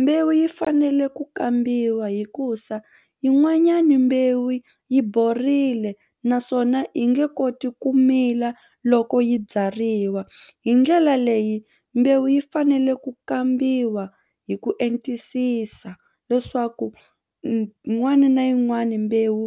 Mbewu yi fanele ku kambiwa hikuza yin'wanyani mbewu yi borile naswona yi nge koti ku mila loko yi byariwa hi ndlela leyi mbewu yi fanele ku kambiwa hi ku entisisa leswaku n'wani na yin'wani mbewu